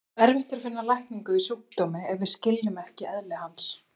Erfitt er að finna lækningu við sjúkdómi ef við skiljum ekki eðli hans.